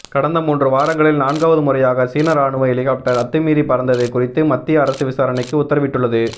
கடந்த மூன்று வாரங்களில் நான்காவது முறையாக சீன ராணுவ ஹெலிகாப்டர் அத்துமீறி பறந்தது குறித்து மத்திய அரசு விசாரணைக்கு உத்தரவிட்டுள்ளது